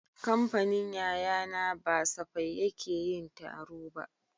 Kamfanin yayana ba safai yake yin taro ba